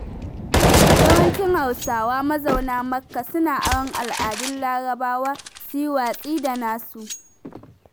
Yawancin Hausawa mazauna makka, suna aron al'adun larabawa su yi watsi da na su.